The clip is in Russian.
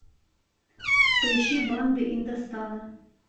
поищи банды индостана